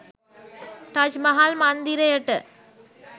Taj Mahal මන්දිරයට